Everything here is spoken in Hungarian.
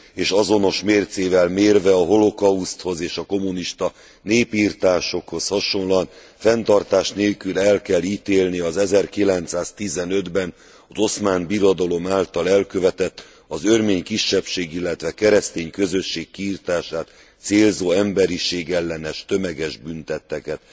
és azonos mércével mérve a holokauszthoz és a kommunista népirtásokhoz hasonlóan, fenntartás nélkül el kell ítélni az 1915 ben az oszmán birodalom által elkövetett, az örmény kisebbség illetve a keresztény közösség kiirtását célzó emberiségellenes tömeges bűntetteket.